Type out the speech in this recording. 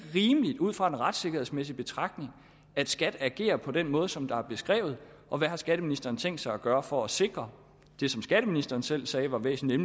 rimeligt ud fra en retssikkerhedsmæssig betragtning at skat agerer på den måde som er beskrevet og hvad har skatteministeren tænkt sig at gøre for at sikre det som skatteministeren selv sagde var væsentligt